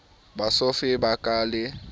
bosofe bo ka ba le